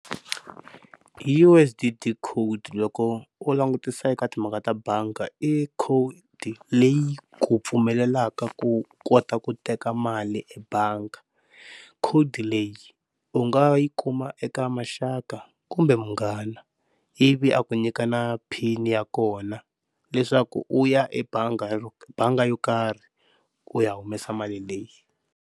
U_S_D_D code, loko u langutisa eka timhaka ta banga, i code leyi ku pfumelelaka ku kota ku teka mali ebangi. Code leyi u nga yi kuma eka maxaka kumbe munghana ivi a ku nyika na pin ya kona leswaku u ya ebanga, banga yo karhi u ya humesa mali leyi.